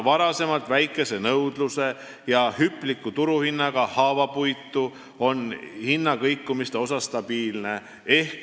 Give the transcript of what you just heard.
Varem väikese nõudluse ja hüpliku turuhinnaga haavapuit on nüüd hinnakõikumiste osas stabiilne.